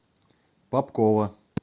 попкова